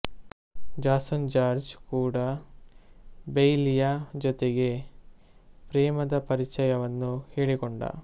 Jason George ಕೂಡಾ ಬೈಲಿಯ ಜೊತೆಗೆ ಪ್ರೇಮದ ಪರಿಚಯವನ್ನು ಹೇಳಿಕೊಂಡ